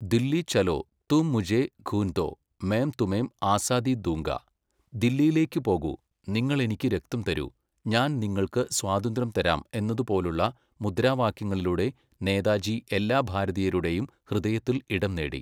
ദില്ലീ ചലോ, തും മുഝേ ഖൂൻ ദോ, മേം തുമേം ആസാദീ ദൂംഗാ ദില്ലിയിലേക്കു പോകൂ, നിങ്ങളെനിക്കു രക്തം തരൂ, ഞാൻ ന് നിങ്ങൾക്ക് സ്വാതന്ത്ര്യം തരാം എന്നതുപോലുള്ള മുദ്രാവാക്യങ്ങളിലൂടെ നേതാജി എല്ലാ ഭാരതീയരുടെയും ഹൃദയത്തിൽ ഇടം നേടി.